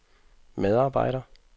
medarbejder